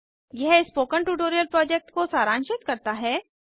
यह spoken tutorial project को सरांशित करता है